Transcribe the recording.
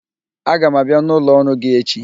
Aga m abịa n'ụlọ ọrụ gi echi